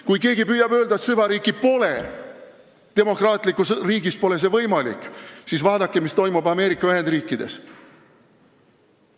Kui keegi püüab öelda, et meil süvariiki pole, sest demokraatlikus riigis pole see võimalik, siis vaadake, mis toimub Ameerika Ühendriikides.